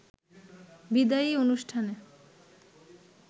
বিদায়ী অনুষ্ঠানে